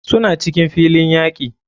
Suna cikin filin yaki.